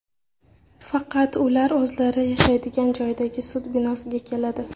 Faqat ular o‘zlari yashaydigan joydagi sud binosiga keladi.